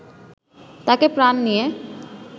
তাকে প্রাণ নিয়ে